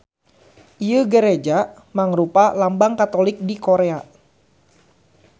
Ieu gareja mangrupa lambang Katolik di Korea.